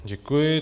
Děkuji.